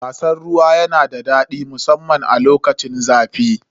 Wasan ruwa yana da daɗi musamman a lokacin zafi.